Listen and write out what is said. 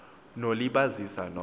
no libazisa no